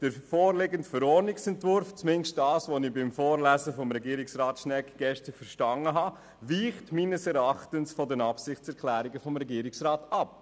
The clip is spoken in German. Der vorliegende Verordnungsentwurf, zumindest das, was ich vom Vorlesen von Regierungsrat Schnegg gestern verstanden habe, weicht meines Erachtens von den Absichtserklärungen des Regierungsrats ab.